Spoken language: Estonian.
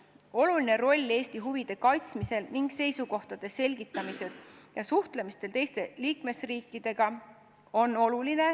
Oluline roll Eesti huvide kaitsmisel ning seisukohtade selgitamisel on suhtlemisel teiste liikmesriikidega.